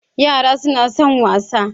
Yara suna son wasa.